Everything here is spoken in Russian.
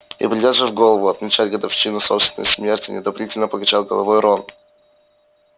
и придёт же в голову отмечать годовщину собственной смерти неодобрительно покачал головой рон